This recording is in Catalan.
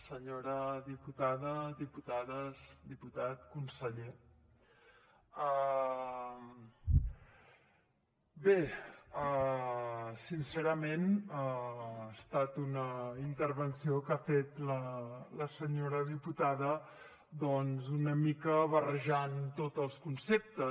senyora diputada diputades diputat conseller bé sincerament ha estat una intervenció que ha fet la senyora diputada doncs una mica barrejant tots els conceptes